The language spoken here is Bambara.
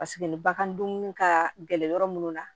Paseke ni bagan dumuni ka gɛlɛn yɔrɔ minnu na